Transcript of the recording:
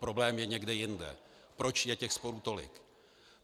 Problém je někde jinde - proč je těch sporů tolik.